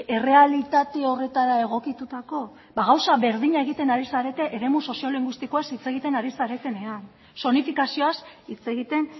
errealitate horretara egokitutako ba gauza berdina egiten ari zarete eremu soziolinguistikoaz hitz egiten ari zaretenean zonifikazioaz hitz egiten